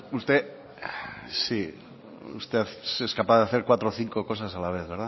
usted sí es capaz de hacer cuatro o cinco cosas a la vez